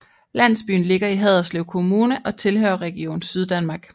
Landsbyen ligger i Haderslev Kommune og tilhører Region Syddanmark